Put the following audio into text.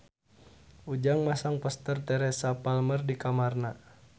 Ujang masang poster Teresa Palmer di kamarna